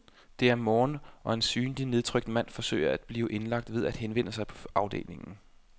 Det er morgen og en synlig nedtrykt mand forsøger at blive indlagt ved at henvende sig på afdelingen.